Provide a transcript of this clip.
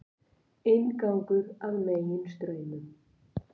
Inngangur að Meginstraumum